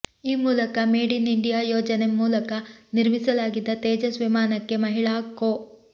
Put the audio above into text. ಈ ಮೂಲಕ made in India ಯೋಜನೆ ಮೂಲಕ ನಿರ್ಮಿಸಲಾಗಿದ್ದ ತೇಜಸ್ ವಿಮಾನಕ್ಕೆ ಮಹಿಳಾ ಕೋ